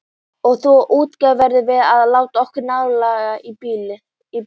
Og þá útgáfu verðum við að láta okkur nægja í bili.